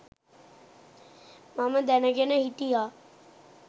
මම දැනගෙන හිටියා.